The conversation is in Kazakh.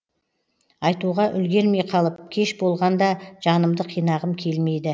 айтуға үлгермей қалып кеш болған да жанымды қинағым келмейді